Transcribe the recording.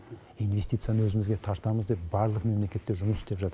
инвестицияны өзімізге тартамыз деп барлық мемлекеттер жұмыс істеп жатыр